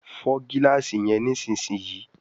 Fọ gilaasi yen nísìsiyìí!